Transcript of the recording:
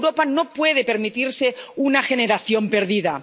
Europa no puede permitirse una generación perdida.